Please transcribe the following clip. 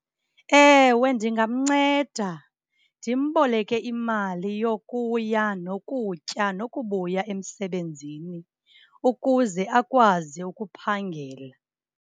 Ewe ndingamnceda ndimboleke imali yokuya nokutya nokubuya emsebenzini ukuze akwazi ukuphangela.